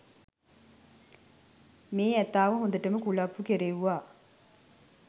මේ ඇතාව හොඳටම කුලප්පු කෙරෙව්වා